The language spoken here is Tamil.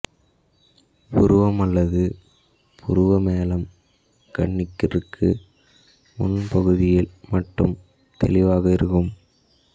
புருவம் அல்லது புருவமேலம் கண்ணிற்கு முன் பகுதியில் மட்டும் தெளிவாக இருக்கும்